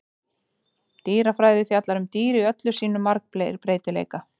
Dýrafræði fjallar um dýr í öllum sínum margbreytileika.